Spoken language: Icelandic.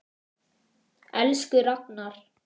Elsku Ragnar.